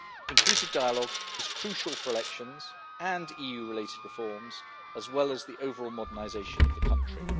Inclusive dialogue is crucial for elections and EU related reforms, as well as the overall modernisation of the country.